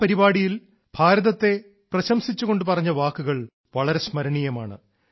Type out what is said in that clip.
ആ പരിപാടിയിൽ ഭാരതത്തെ പ്രശംസിച്ചുകൊണ്ട് പറഞ്ഞ വാക്കുകൾ വളരെ സ്മരണീയമാണ്